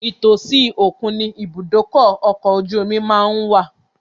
Ìtòsí òkun ni ìbúdókọ̀ ọkọ̀ ojú omi má ń wà